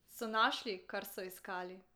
So našli, kar so iskali?